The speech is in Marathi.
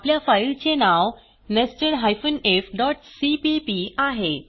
आपल्या फाईलचे नाव nested ifसीपीपी आहे